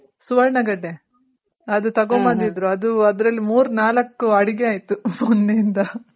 ಸುವರ್ಣ ಗಡ್ಡೆ ಅದು ತಗೊಬಂದಿದ್ರು ಅದು ಅದ್ರಲ್ ಮೂರ್ ನಾಲಕ್ಕು ಅಡಿಗೆ ಆಯ್ತು ಮೊನ್ನೆ ಯಿಂದ.